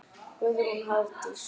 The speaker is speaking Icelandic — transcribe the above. Guðrún Hafdís.